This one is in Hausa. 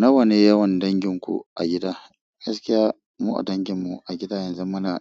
Nawane yawan danginku a gida? Gaskiya mu a dangin mu a gida, yanzu muna